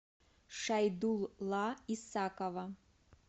шайдулла исакова